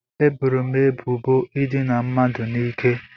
Eboro m ebubo ịdina mmadụ n'ike